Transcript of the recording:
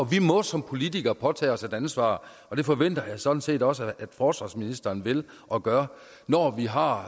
vi må som politikere påtage os et ansvar og det forventer jeg sådan set også at forsvarsministeren vil og gør når vi har